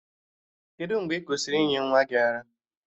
Kedụ mgbe ị kwụsịrị ịnye nwa gị ara?